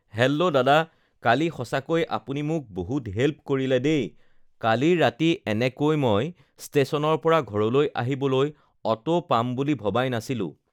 hello দাদা কালি সঁচাকৈ আপুনি মোক বহুত হেল্প কৰিলে দেই কালি ৰাতি এনেকৈ মই ষ্টেচনৰ পৰা ঘৰলৈ আহিবলৈ অ'টো পাম বুলি ভবাই নাছিলোঁ